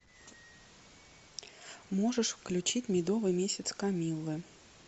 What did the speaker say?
можешь включить медовый месяц камиллы